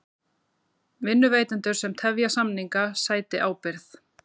Vinnuveitendur sem tefja samninga sæti ábyrgð